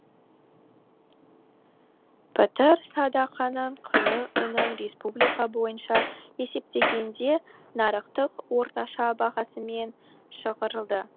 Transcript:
пітір садақаның құны ұнның республика бойынша есептегенде нарықтық орташа бағасымен шығарылды